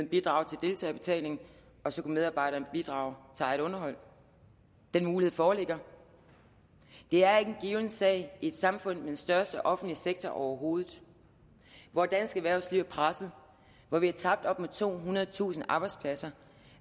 bidrage til deltagerbetaling og så kunne medarbejderen bidrage til eget underhold den mulighed foreligger det er ikke en given sag i et samfund med den største offentlige sektor overhovedet hvor dansk erhvervsliv er presset og hvor vi har tabt op mod tohundredetusind arbejdspladser